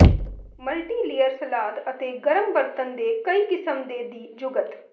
multilayer ਸਲਾਦ ਅਤੇ ਗਰਮ ਬਰਤਨ ਦੇ ਕਈ ਕਿਸਮ ਦੇ ਦੀ ਜੁਗਤ